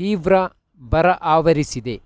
ತೀವ್ರ ಬರ ಆವರಿಸಿದೆ